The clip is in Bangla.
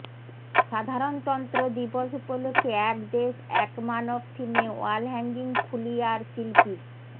সাধারণতন্ত্র দিবস উপলক্ষে এক দেশ এক মানব থিমে ওয়াল হ্যাঙ্গিং ফুলিয়ার শিল্পীর